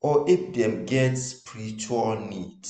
or if dem get spiritual need.